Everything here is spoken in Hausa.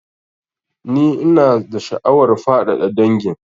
Ni ina da sha'awar faɗaɗa dangin